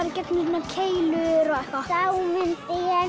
í gegnum svona keilur og